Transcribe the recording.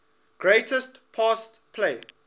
greatest pass play